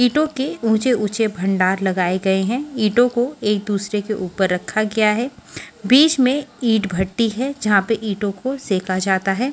ईटो के ऊचे ऊचे भंडार लगाए गए है ईटो को एक दूसरे के ऊपर रखा गया है बिच में ईट भटी है जहा पे ईटो को सेका जाता है।